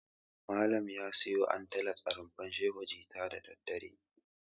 Malam ya siyo antalaj a Rumfar Shehu jita da daddare.